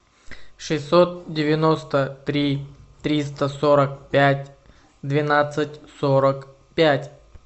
шестьсот девяносто три триста сорок пять двенадцать сорок пять